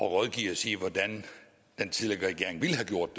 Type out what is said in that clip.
at rådgive os i hvordan den tidligere regering ville have gjort